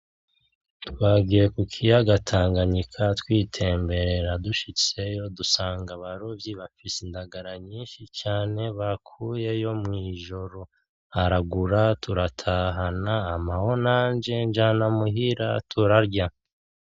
Twagiye ku kiyaga Tanganyika twitemberera. Dushitseyo dusanga abarovyi bafise indagara nyinshi cane bakuyeyo mw'ijoro. Aragura turatahana, ampaho nanje njana muhira turarya.